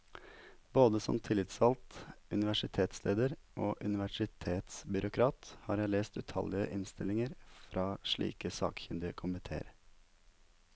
Både som tillitsvalgt, universitetslærer og universitetsbyråkrat har jeg lest utallige innstillinger fra slike sakkyndige komitéer.